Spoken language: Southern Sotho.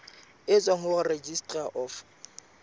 e tswang ho registrar of